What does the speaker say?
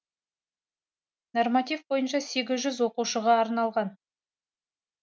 норматив бойынша сегіз жүз оқушыға арналған